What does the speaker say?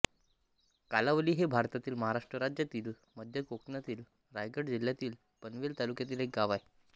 कालीवली हे भारतातील महाराष्ट्र राज्यातील मध्य कोकणातील रायगड जिल्ह्यातील पनवेल तालुक्यातील एक गाव आहे